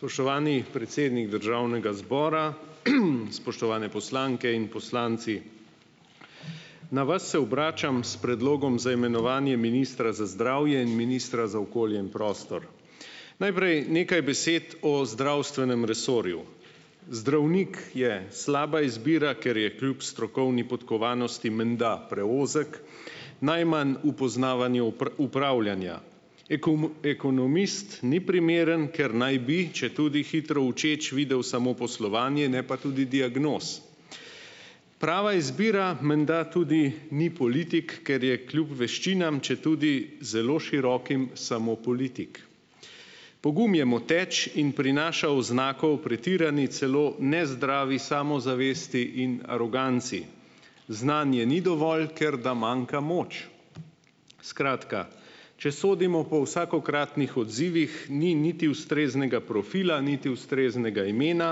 Spoštovani predsednik državnega zbora, spoštovane poslanke in poslanci! Na vas se obračam s predlogom za imenovanje ministra za zdravje in ministra za okolje in prostor. Najprej nekaj besed o zdravstvenem resorju. Zdravnik je slaba izbira, ker je kljub strokovni podkovanosti menda preozek, najmanj v poznavanju upravljanja. ekonomist ni primeren, ker naj bi, četudi hitro učeč, videl samo poslovanje, ne pa tudi diagnoz. Prava izbira menda tudi ni politik, ker je kljub veščinam, četudi zelo širokim, samo politik. Pogum je moteč in prinaša oznako o pretirani celo nezdravi samozavesti in aroganci. Znanje ni dovolj, ker da manjka moč. Skratka, če sodimo po vsakokratnih odzivih, ni niti ustreznega profila, niti ustreznega imena,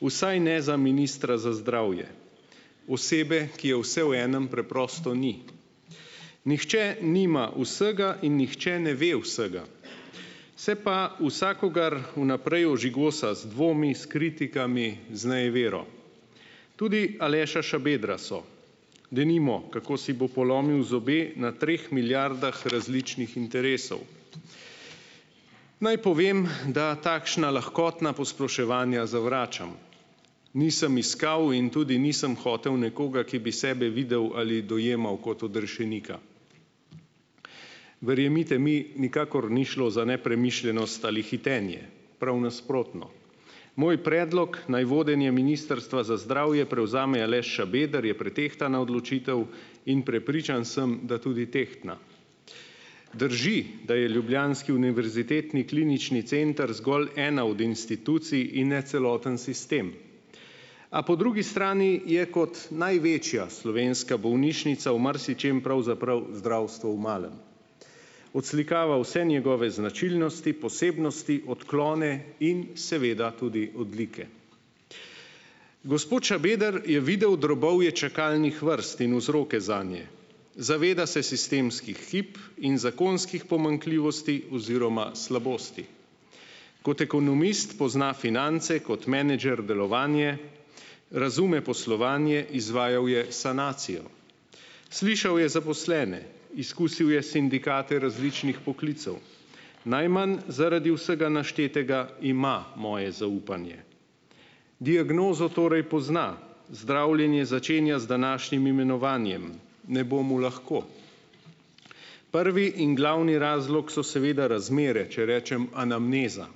vsaj ne za ministra za zdravje. Osebe, ki je vse v enim, preprosto ni. Nihče nima vsega in nihče ne ve vsega. Se pa vsakogar vnaprej ožigosa z dvomi, s kritikami, z nejevero. Tudi Aleša Šabedra so, denimo, kako si bo polomil zobe na treh milijardah različnih interesov. Naj povem, da takšna lahkotna posploševanja zavračam. Nisem iskal in tudi nisem hotel nekoga, ki bi sebe videl ali dojemal kot odrešenika. Verjemite mi, nikakor ni šlo za nepremišljenost ali hitenje, prav nasprotno. Moj predlog, naj vodenje Ministrstva za zdravje prevzame Aleš Šabeder, je pretehtana odločitev in prepričan sem, da tudi tehtna. Drži, da je ljubljanski Univerzitetni klinični center zgolj ena od institucij in ne celoten sistem, a po drugi strani je kot največja slovenska bolnišnica v marsičem pravzaprav zdravstvo v malem. Odslikava vse njegove značilnosti, posebnosti, odklone in seveda tudi odlike. Gospod Šabeder je videl drobovje čakalnih vrst in vzroke zanje. Zaveda se sistemskih hib in zakonskih pomanjkljivosti oziroma slabosti. Kot ekonomist pozna finance, kot menedžer delovanje, razume poslovanje, izvajal je sanacijo. Slišal je zaposlene, izkusil je sindikate različnih poklicev, najmanj zaradi vsega naštetega ima moje zaupanje. Diagnozo torej pozna, zdravljenje začenja z današnjim imenovanjem, ne bo mu lahko. Prvi in glavni razlog so seveda razmere, če rečem anamneza.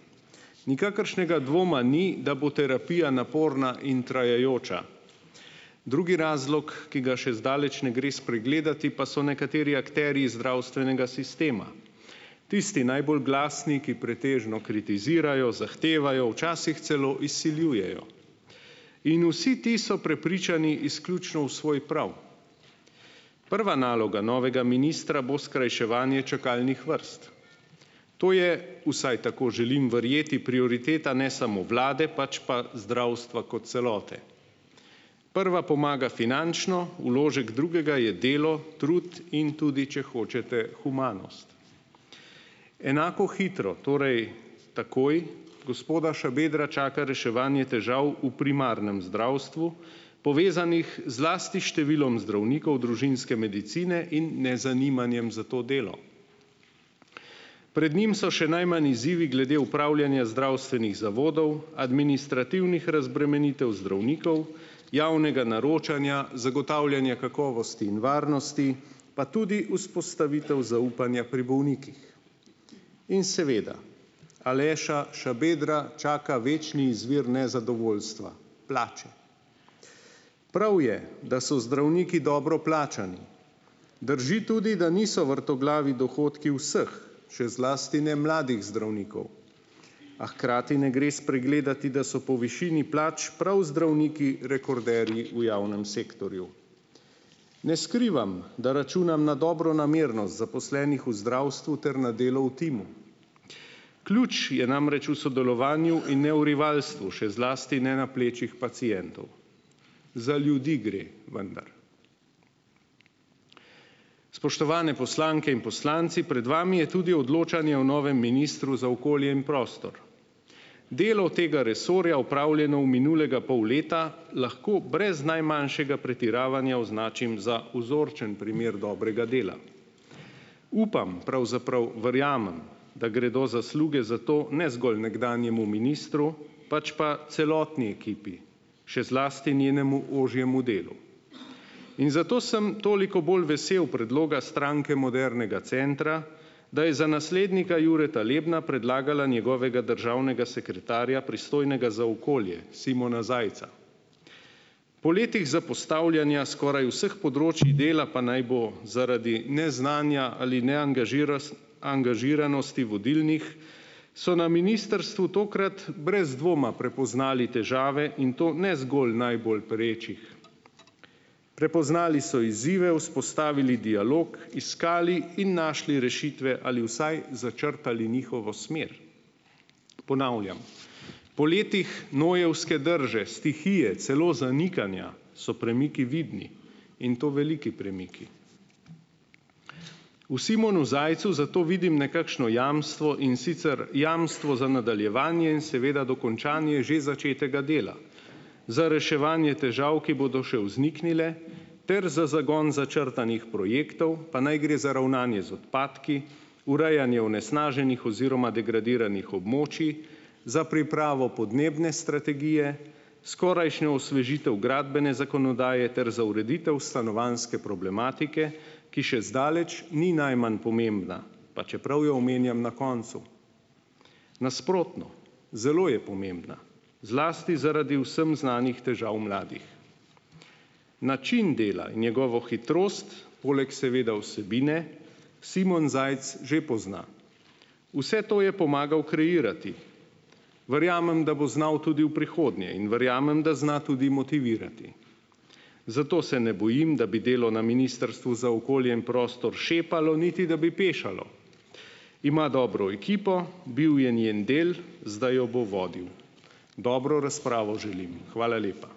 Nikakršnega dvoma ni, da bo terapija naporna in trajajoča. Drugi razlog, ki ga še zdaleč ne gre spregledati, pa so nekateri akterji zdravstvenega sistema. Tisti najbolj glasni, ki pretežno kritizirajo, zahtevajo, včasih celo izsiljujejo in vsi ti so prepričani izključno v svoj prav. Prva naloga novega ministra bo skrajševanje čakalnih vrst. To je, vsaj tako želim verjeti, prioriteta ne samo vlade, pač pa zdravstva kot celote. Prva pomaga finančno, vložek drugega je delo, trud in tudi, če hočete, humanost. Enako hitro, torej takoj, gospoda Šabedra čaka reševanje težav v primarnem zdravstvu, povezanih zlasti s številom zdravnikov družinske medicine in nezanimanjem za to delo. Pred njim so še najmanj izzivi glede upravljanja zdravstvenih zavodov, administrativnih razbremenitev zdravnikov, javnega naročanja, zagotavljanja kakovosti in varnosti, pa tudi vzpostavitev zaupanja pri bolnikih. In seveda, Aleša Šabedra čaka večni izvir nezadovoljstva - plače. Prav je, da so zdravniki dobro plačani. Drži tudi, da niso vrtoglavi dohodki vseh, še zlasti ne mladih zdravnikov, a hkrati ne gre spregledati, da so po višini plač prav zdravniki rekorderji v javnem sektorju. Ne skrivam, da računam na dobronamernost zaposlenih v zdravstvu ter na delu v timu. Ključ je namreč v sodelovanju in ne v rivalstvu, še zlasti ne na plečih pacientov. Za ljudi gre, vendar. Spoštovani poslanke in poslanci, pred vami je tudi odločanje o novem ministru za okolje in prostor. Delo tega resorja, opravljeno v minulega pol leta, lahko brez najmanjšega pretiravanja označim za vzorčen primer dobrega dela. Upam, pravzaprav verjamem, da gredo zasluge za to ne zgolj nekdanjemu ministru, pač pa celotni ekipi, še zlasti njenemu ožjemu delu. In zato sem toliko bolj vesel predloga Stranke modernega centra, da je za naslednika Jureta Lebna predlagala njegovega državnega sekretarja, pristojnega za okolje - Simona Zajca. Po letih zapostavljanja skoraj vseh področij dela, pa naj bo zaradi neznanja ali angažiranosti vodilnih, so na ministrstvu tokrat brez dvoma prepoznali težave in to ne zgolj najbolj perečih. Prepoznali so izzive, vzpostavili dialog, iskali in našli rešitve ali vsaj začrtali njihovo smer. Ponavljam, po letih nojevske drže, stihije, celo zanikanja, so premiki vidni in to veliki premiki. V Simonu Zajcu zato vidim nekakšno jamstvo, in sicer jamstvo za nadaljevanje in seveda dokončanje že začetega dela, za reševanje težav, ki bodo še vzniknile, ter za zagon začrtanih projektov, pa naj gre za ravnanje z odpadki, urejanje onesnaženih oziroma degradiranih območij, za pripravo podnebne strategije, skorajšnje osvežitve gradbene zakonodaje ter za ureditev stanovanjske problematike, ki še zdaleč ni najmanj pomembna, pa čeprav jo omenjam na koncu. Nasprotno, zelo je pomembna. Zlasti zaradi vsem znanih težav mladih. Način dela in njegovo hitrost, poleg seveda vsebine, Simon Zajc že pozna. Vse to je pomagal kreirati. Verjamem, da bo znal tudi v prihodnje, in verjamem, da zna tudi motivirati. Zato se ne bojim, da bi delo na Ministrstvu za okolje in prostor šepalo, niti, da bi pešalo. Ima dobro ekipo, bil je njen del, zdaj jo bo vodil. Dobro razpravo želim in hvala lepa.